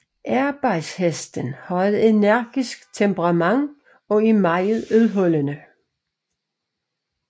Arbejdshesten har et energisk temperament og er meget udholdende